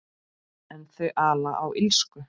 En þau ala á illsku.